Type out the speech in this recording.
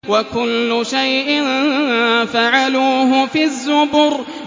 وَكُلُّ شَيْءٍ فَعَلُوهُ فِي الزُّبُرِ